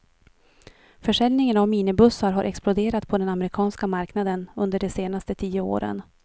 Försäljningen av minibussar har exploderat på den amerikanska marknaden under de senaste tio åren.